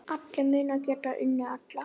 Allir munu geta unnið alla.